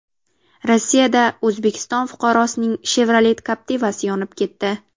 Rossiyada O‘zbekiston fuqarosining Chevrolet Captiva’si yonib ketdi.